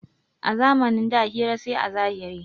A zamanin da hira sai a zahiri.